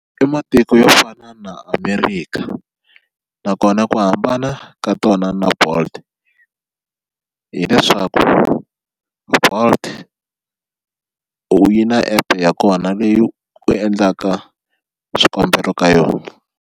I matiko yo fana na America nakona ku hambana ka tona na Bolt hileswaku Bolt u yi na app ya kona leyi endlaka swikombelo ka yona.